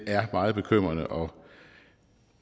er meget bekymrende og